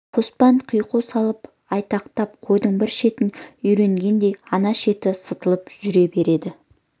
қоспан қиқу салып айтақтап қойдың бір шетін үйіргенде ана шеті сытылып жүре береді